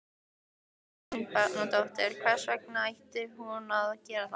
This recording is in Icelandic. Þórunn Sveinbjarnardóttir: Hvers vegna ætti hún að gera það?